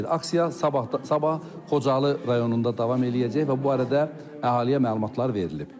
Aksiya sabah Xocalı rayonunda davam eləyəcək və bu barədə əhaliyə məlumatlar verilib.